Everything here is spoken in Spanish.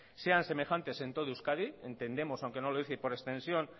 sean semejantes en todo euskadi entendemos aunque no lo dice y por extensión